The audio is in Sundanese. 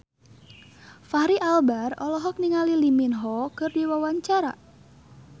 Fachri Albar olohok ningali Lee Min Ho keur diwawancara